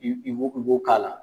I' b'o k'a la.